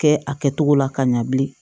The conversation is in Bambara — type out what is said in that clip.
Kɛ a kɛtogo la ka ɲa bilen